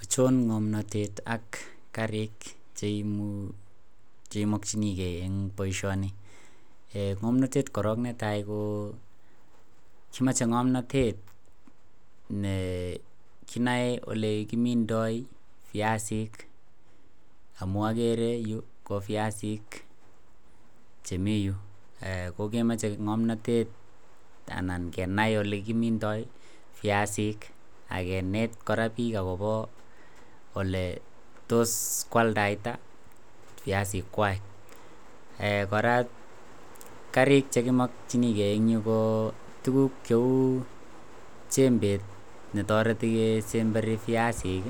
Ochon ng'omnotet ak kariik cheimokyinigen en boisioni? ung'utyet korong' netai ko kimoche ng'omnotet ne kinoe olekimindoi viasik, amogere ko yu ko biasik che mi yu kokimoche ng'omnotet anan kenai olekimindo viasik ak keneet kora biik akobo oletos kwaldaita viasik kwak, kora kariik chekimokyinigen ko tuguk cheu jembet netoreti kesemberi viasik